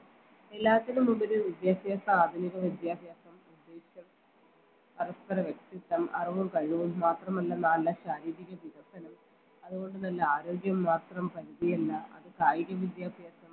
എല്ലാത്തിനും മുമ്പില് വിദ്യാഭ്യാസ ആധുനിക വിദ്യാഭ്യാസം പരസ്പര വ്യക്തിത്വം അറിവും കഴിവും മാത്രമല്ല നല്ല ശാരീരിക വികസനം അതുകൊണ്ട് നല്ല ആരോഗ്യം മാത്രം പരിധിയില്ല അത് കായിക വിദ്യാഭ്യാസം